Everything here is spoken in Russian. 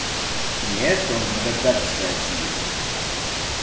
нет он реп гад читает сидит